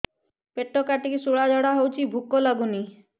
ପେଟ କାଟିକି ଶୂଳା ଝାଡ଼ା ହଉଚି ଭୁକ ଲାଗୁନି